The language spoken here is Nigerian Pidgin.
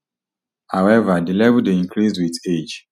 however di level dey decrease wit age